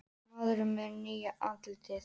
Maðurinn með nýja andlitið